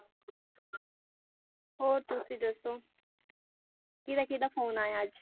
ਹੋਰ ਤੁਸੀਂ ਦੱਸੋ ਕਿਹਦਾ ਕਿਹਦਾ phone ਆਇਆ ਅੱਜ